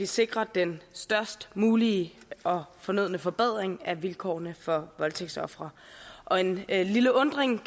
sikrer den størst mulige og fornødne forbedring af vilkårene for voldtægtsofre og en en lille undren